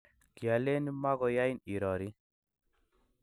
kialeni mokoyain irorii.